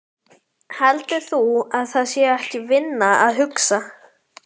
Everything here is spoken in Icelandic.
Heldur þú að það sé ekki vinna að hugsa?